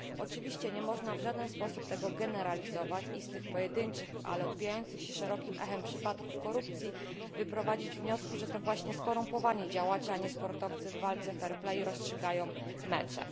Oczywiście nie można w żaden sposób tego generalizować i z tych pojedynczych ale odbijających się szerokim echem przypadków korupcji wyprowadzić wniosku, że to właśnie skorumpowani działacze, a nie sportowcy w walce fair play rozstrzygają mecze.